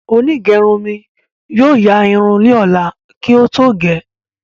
Onígerun mi yóò yaa irun li lola kí ó tó gẹ́